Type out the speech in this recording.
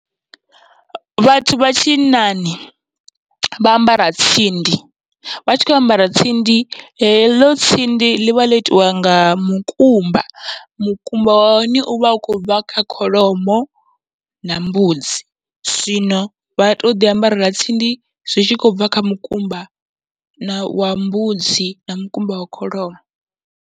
Vhathu vha tshinnani vha ambara tsindi, vha tshi kho ambara tsindi heḽo tsindi ḽivha ḽo itiwa nga mukumba, mukumba wa hone uvha u khou bva kha kholomo na mbudzi. Zwino vha toḓi ambarela tsindi zwi tshi khou bva kha mukumba na wa mbudzi na mukumba wa kholomo.